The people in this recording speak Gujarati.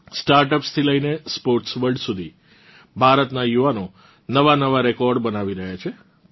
સ્ટાર્ટઅપ્સ થી લઇને સ્પોર્ટ્સ વર્લ્ડ સુધી ભારતનાં યુવાનો નવાંનવાં રેકોર્ડ બનાવી રહ્યાં છે